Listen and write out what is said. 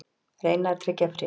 Reyna að tryggja frið